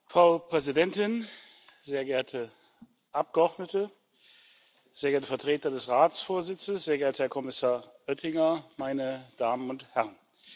Frau Präsidentin, sehr geehrte Abgeordnete, sehr geehrte Vertreter des Ratsvorsitzes, sehr geehrter Herr Kommissar Oettinger, meine Damen und Herren!